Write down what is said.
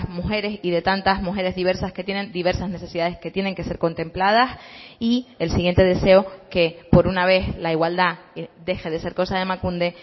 mujeres y de tantas mujeres diversas que tienen diversas necesidades que tienen que ser contempladas y el siguiente deseo que por una vez la igualdad deje de ser cosa de emakunde